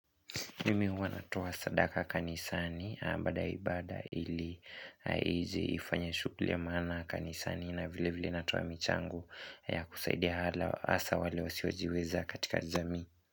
Mimi uwa natowa sadaka kanisani bada ya ibada ili ije ifanye shuguli ya mana kanisani na vile vile natowa michangu ya kusaidia asa wale wasiojiweza katika jami.